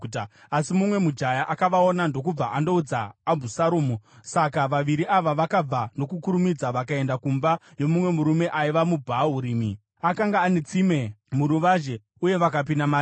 Asi mumwe mujaya akavaona ndokubva andoudza Abhusaromu. Saka vaviri ava vakabva nokukurumidza vakaenda kumba yomumwe murume aiva muBhahurimi. Akanga ane tsime muruvazhe, uye vakapinda mariri.